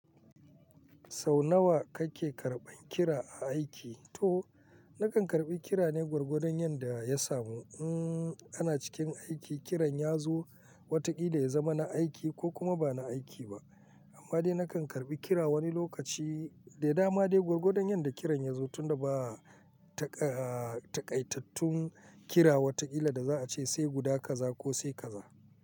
Sau nawa kake karɓan kira a aiki? To, nakan karɓi kira ne gwargwadon yanda ya samu. In ana cikin aiki, kiran ya zo watakila ya zama na aiki ko kuma ba na aiki ba. Amma dai nakan karɓi kira wani lokaci da dama dai gwargwadon yanda kiran ya zo tunda ba a takaitattun kira watakila da za a ce sai guda kaza ko sai kaza.